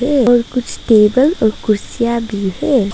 ये और कुछ टेबल और कुर्सियां भी है।